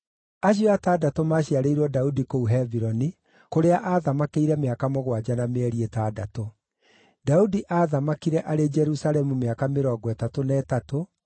Acio atandatũ maaciarĩirwo Daudi kũu Hebironi, kũrĩa aathamakĩire mĩaka mũgwanja na mĩeri ĩtandatũ. Daudi aathamakire arĩ Jerusalemu mĩaka mĩrongo ĩtatũ na ĩtatũ,